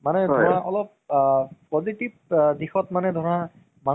হয় তাকে অহ তোমাৰ আমাৰ যিদিন আহিবা